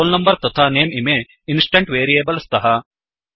roll number तथा nameइमे instant variable स्तः